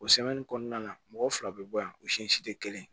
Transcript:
O kɔnɔna na mɔgɔ fila bɛ bɔ yan o si tɛ kelen ye